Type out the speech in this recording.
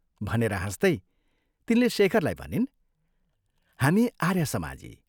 " भनेर हाँस्तै तिनले शेखरलाई भनिन्, "हामी आर्यसमाजी।